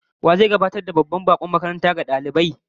Wa zai gabatar da babban bakon makaranta ga dalibai idan ba shugaba?